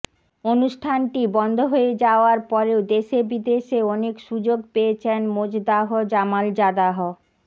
অনুষ্ঠানটি বন্ধ হয়ে যাওয়ার পরেও দেশে বিদেশে অনেক সুযোগ পেয়েছেন মোজদাহ জামালজাদাহ